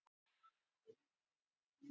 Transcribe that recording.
Þau könnuðust ekki við mig.